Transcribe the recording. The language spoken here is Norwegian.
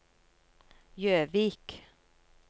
Gjøvik